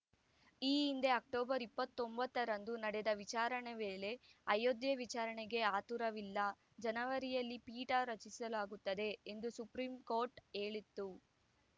ಈ ಹಿಂದೆ ಅಕ್ಟೋಬರ್ ಇಪ್ಪತ್ತ್ ಒಂಬತ್ತ ರಂದು ನಡೆದ ವಿಚಾರಣೆ ವೇಳೆ ಅಯೋಧ್ಯೆ ವಿಚಾರಣೆಗೆ ಆತುರವಿಲ್ಲ ಜನವರಿಯಲ್ಲಿ ಪೀಠ ರಚಿಸಲಾಗುತ್ತದೆ ಎಂದು ಸುಪ್ರೀಂ ಕೋರ್ಟ್‌ ಹೇಳಿತ್ತು